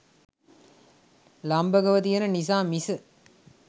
ලම්භකව තියෙන නිසා මිස